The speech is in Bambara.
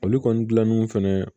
Olu kɔni gilannen fɛnɛ